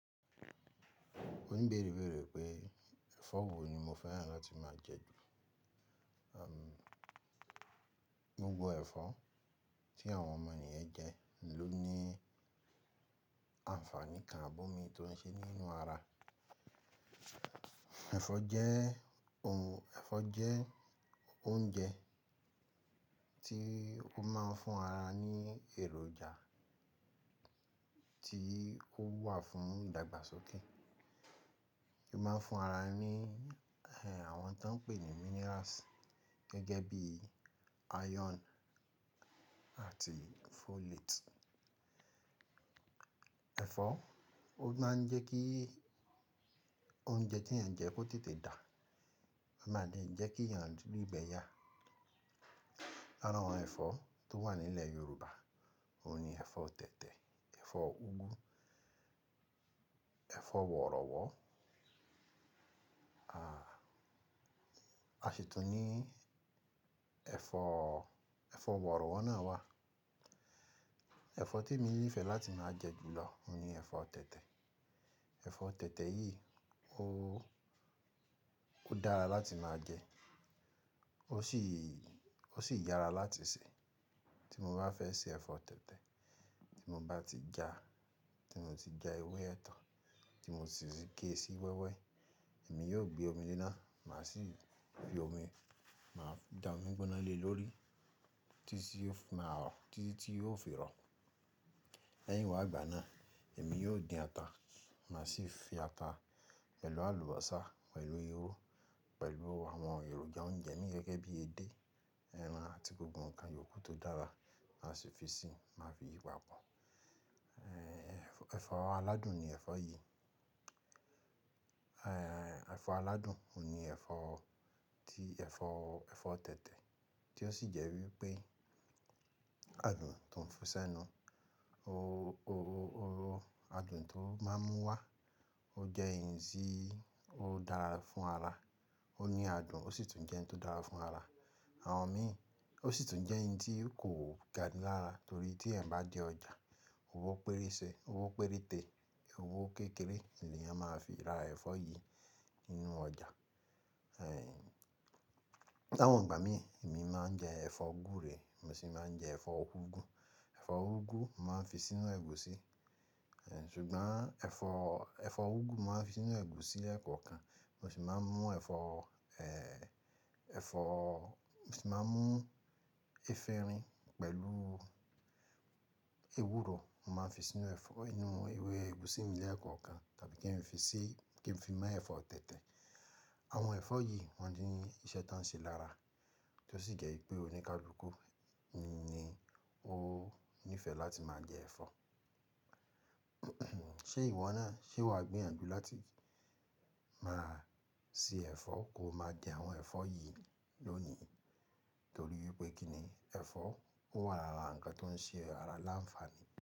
Òníbéèrè béèrè pé ẹ̀fọ́ wo ni mo fẹ́ràn láti máa jẹ jù. Gbogbo ẹ̀fọ́ tí àwọn ọmọ ènìyàn ń jẹ ló ní àǹfààní kan abómi tó ń ṣe nínú ara. Ẹ̀fọ́ jẹ́ ohun, ẹ̀fọ́ jẹ́ oúnjẹ tí ó máa ń fún ara ní èròjà tí ó wà fún ìdàgbàsókè. Ó máa ń fún ara ní, ẹ, ẹ àwọn tó ń pè ní minerals gẹ́gẹ́ bí iron àti folate. Ẹ̀fọ́, ó máa ń jẹ́ kí oúnjẹ tí èèyàn jẹ kó tètè dà, o máa dè jẹ́ kí èèyàn ri ìgbẹ́ yà. Lára àwọn ẹ̀fọ́ tó wà nílẹ̀ Yorùbá, òun ni ẹ̀fọ́ tẹ̀tẹ̀, ẹ̀fọ́ úgú, ẹ̀fọ́ wọ̀rọ̀wọ̀. A, a sì tún ní ẹ̀fọ́, ẹ̀fọ́ wọ̀rọ̀wọ̀ náà wà. Ẹ̀fọ́ tí emi nífẹ̀ẹ́ láti máa jẹ jù lọ oni ẹ̀fọ́ tẹ̀tẹ̀. Ẹ̀fọ́ tẹ̀tẹ̀ yìí ó, ó dára láti máa jẹ, ó sì, ó sì yára láti sè. Tí mo bá fẹ́ sè ẹ̀fọ́ tẹ̀tẹ̀, tí mo bá ti ja, tí mo ti ja ewé ẹ̀tàn tí mo sì gé sí wẹ́wẹ́, èmi yóò gbé omi lé náà, màá sì fi omi, màá da omi gbóná le lórí títí tí ó fi máa rọ̀, títí tí yóò fi rọ̀. Lẹ́yìn wá ìgbà náà, èmi yóò dín ata, màá sì fi ata pẹ̀lú àlùbọ́sà, pẹ̀lú irú, pẹ̀lú àwọn èròjà oúnjẹ mi gẹ́gẹ́ bí edé, ẹran àti gbogbo nǹkan yòókù tó dára, màá sì fi sì, màá fi yi papọ̀. Ẹ̀, ẹ̀fọ́ aládùn ni ẹ̀fọ́ yìí. Ẹ̀fọ́ aládùn òun ni ẹ̀fọ́ tí ẹ̀fọ́, ẹ̀fọ́ tẹ̀tẹ̀ tí ó sì jẹ́ wípé adùn tó ń fún sẹ́nu o O, o, o, adùn tó máa ń mú wá ó jẹ́ ìyì tí ó dára fún ara. Ó ní adùn ó sì tún jẹ́ ohun tó dára fún ara. Àwọn mi, ó sì tún jẹ́ ohun tí kò ga ní lára torí tí ẹ̀ bá dé ọjà, owó pérése, owó péréte, owó kékeré ni èèyàn máa fi ra ẹ̀fọ́ yìí nínú ọjà. Ẹ̀, láwọn ìgbà mi, èmi máa ń jẹ ẹ̀fọ́ gúre, mo sì máa ń jẹ ẹ̀fọ́ úgú. Ẹ̀fọ́ úgú màá fi sínú ẹ̀gúsí, ẹ̀, ṣùgbọ́n ẹ̀fọ́, ẹ̀fọ́ úgú màá fi sínú ẹ̀gúsí ẹ̀kọ̀kan, mo sì máa mú ẹ̀fọ́, ẹ, ẹ̀fọ́, mo sì máa mú efinrin pẹ̀lú ewúro, màá fi sínú ẹ̀fọ́, nínú ewé ẹ̀gúsí mi lẹ́ẹ̀kọ̀kan tàbí kí n fi sí, kí n fi mú ẹ̀fọ́ tẹ̀tẹ̀. Àwọn ẹ̀fọ́ yìí wọ́n ní iṣẹ́ tó ń ṣe lára tí ó sì jẹ́ wípé oníkàlùkù ni ó nífẹ̀ẹ́ láti máa jẹ ẹ̀fọ́. Ṣé ìwọ náà, ṣe wà gbéyànjú láti máa sè ẹ̀fọ́ ko máa jẹ àwọn ẹ̀fọ́ yìí lónìí torí wípé kí ni ẹ̀fọ́, ó wà lára nǹkan tó ń ṣe ara láǹfààní?